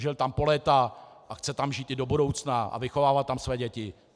Žil tam po léta a chce tam žít i do budoucna a vychovávat tam své děti.